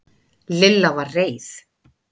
Lilla var reið.